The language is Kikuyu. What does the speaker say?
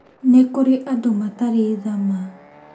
Nĩ kũrĩ andũ matarĩ tha ma